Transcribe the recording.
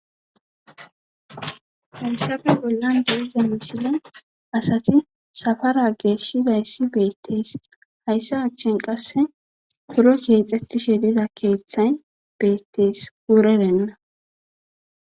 hayssafe bollan deiza misile asati safara geeshshizayssi beettees hayssa achchin qasse buro keexxettishe diza keeththay beettees wurerenna